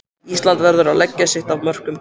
Ísland verður að leggja sitt af mörkum